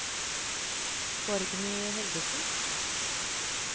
Borgny Helgesen